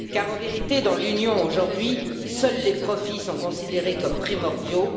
Car, en vérité, dans l'Union, aujourd'hui, seuls les profits sont considérés comme primordiaux.